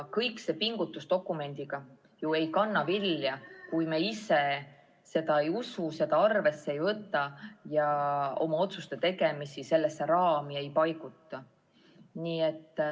Selle dokumendi kallal tehtud pingutused ei kanna ju vilja, kui me ise sellesse ei usu, seda arvesse ei võta ja otsuste tegemist sellesse raami ei paiguta.